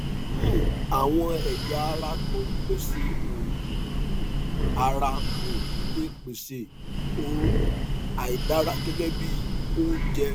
um àwọn ẹyà tó ń pèsè òógùn um ara um lè pèsè òórùn àìdára gẹgẹ bí oúnjẹ